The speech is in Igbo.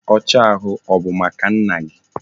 Oche ahu, ọ bụ maka nna gi?